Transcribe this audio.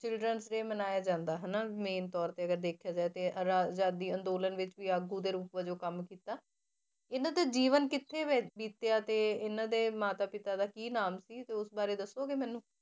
Children's day ਮਨਾਇਆ ਜਾਂਦਾ ਹਨਾ main ਤੌਰ ਤੇ ਅਗਰ ਦੇਖਿਆ ਜਾਏ ਤੇ ਅਰਾ~ ਆਜ਼ਾਦੀ ਅੰਦੋਲਨ ਵਿੱਚ ਵੀ ਆਗੂ ਦੇ ਰੂਪ ਵਜੋਂ ਕੰਮ ਕੀਤਾ ਇਹਨਾਂ ਦੇ ਜੀਵਨ ਕਿੱਥੇ ਬ~ ਬੀਤਿਆ ਤੇ ਇਹਨਾਂ ਦੇ ਮਾਤਾ ਪਿਤਾ ਦਾ ਕੀ ਨਾਮ ਸੀ ਤੇ ਉਸ ਬਾਰੇ ਦੱਸੋਗੇ ਮੈਨੂੰ?